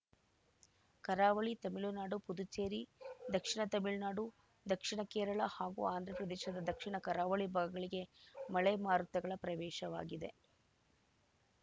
ಕರಾವಳಿ ತಮಿಳುನಾಡು ಪುದುಚೇರಿ ದಕ್ಷಿಣ ತಮಿಳುನಾಡು ದಕ್ಷಿಣ ಕೇರಳ ಹಾಗೂ ಆಂಧ್ರಪ್ರದೇಶದ ದಕ್ಷಿಣ ಕರಾವಳಿ ಭಾಗಗಳಿಗೆ ಮಳೆ ಮಾರುತಗಳ ಪ್ರವೇಶವಾಗಿದೆ